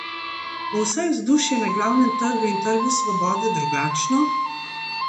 Bo vsaj vzdušje na Glavnem trgu in Trgu svobode drugačno?